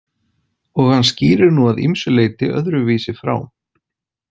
Og hann skýrir nú að ýmsu leyti öðruvísi frá.